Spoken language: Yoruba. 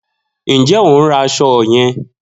Njẹ o n ra aṣọ yan?